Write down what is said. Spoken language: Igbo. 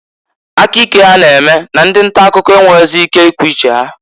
Aka ike ha na-eme na ndị nta akụkọ enwerozi ike ikwu uche ha.